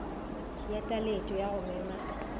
ya taletšo ya go mema